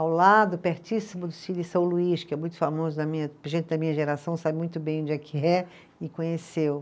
Ao lado, pertíssimo do Cine São Luís, que é muito famoso na minha, gente da minha geração sabe muito bem onde é que é, e conheceu.